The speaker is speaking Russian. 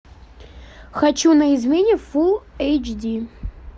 хочу на измене фулл эйч ди